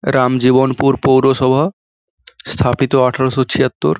রামজীবনপুর পৌরসভা স্থাপিত আঠারশ ছিয়াত্তর।